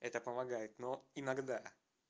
это помогает но иногда